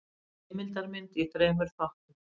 Heimildamynd í þremur þáttum.